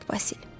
Bədbəxt Basil.